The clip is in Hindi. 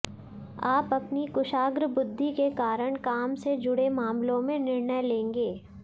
आप अपनी कुशाग्र बुद्धि के कारण काम से जुडे मामलों में निर्णय लेंगे